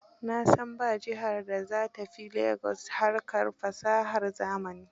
Na san ba jihar da za ta fi Lagos harkar fasahar zamani